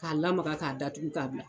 K'a lamaga k'a datugu k'a bila.